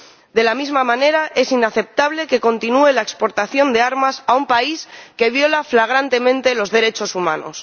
De la misma manera, es inaceptable que continúe la exportación de armas a un país que viola flagrantemente los derechos humanos.